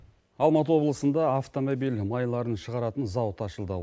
алматы облысыныда автомобиль майларын шығаратын зауыт ашылды